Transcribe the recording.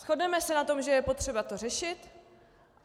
Shodneme se na tom, že je potřeba to řešit.